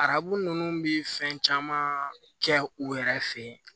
Arabu ninnu bi fɛn caman kɛ u yɛrɛ fe ye